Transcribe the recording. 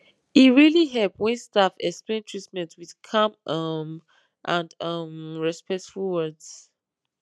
e really help when staff explain treatment with calm um and um respectful words